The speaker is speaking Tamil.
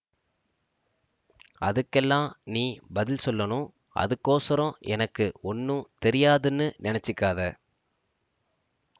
அதுக்கெல்லாம் நீ பதில் சொல்லணு அதுக்கோசரம் எனக்கு ஒண்ணும் தெரியாதுன்னு நினைச்சுக்காதே